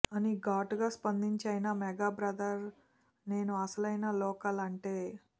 అని ఘాటుగా స్పందించైనా మెగా బ్రదర్ నేను అసలైన లోకల్ అంటే